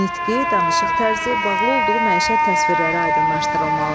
Nitqi, danışıq tərzi, bağlı olduğu məişət təsvirləri aydınlaşdırılmalıdır.